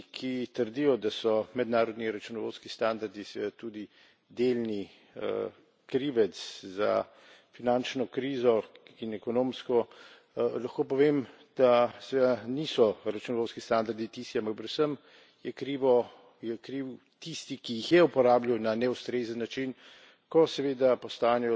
In tisti, ki trdijo, da so mednarodni računovodski standardi seveda tudi delni krivec za finančno krizo in ekonomsko, lahko povem, da seveda niso računovodski standardi tisti, ampak je predvsem je kriv tisti, ki jih je uporabljal na neustrezen način,